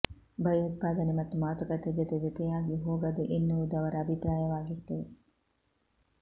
ಭಯೋತ್ಪಾದನೆ ಮತ್ತು ಮಾತುಕತೆ ಜೊತೆ ಜೊತೆಯಾಗಿ ಹೋಗದು ಎನ್ನುವುದು ಅವರ ಅಭಿಪ್ರಾಯವಾಗಿತ್ತು